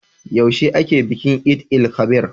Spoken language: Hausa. Yaushe ake bikin Eid-el-kabir?